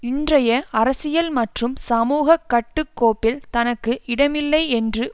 இன்றைய அரசியல் மற்றும் சமூக கட்டுக்கோப்பில் தனக்கு இடமில்லை என்று